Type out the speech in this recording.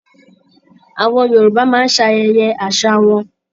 Àwọn Yorùbá máa ń ṣe ayẹyẹ àṣà wọn